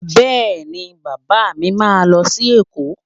Bẹ́ẹ̀ni, Bàbá mi máa lọ sí Èkó